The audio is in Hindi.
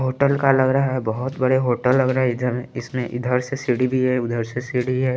होटल का लग रहा है बहुत बड़े होटल लग रहा है इधर इसमें इधर से सीढ़ी भी है उधर से सीढ़ी है।